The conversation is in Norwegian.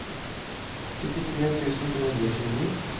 syttitre tusen to hundre og tjueni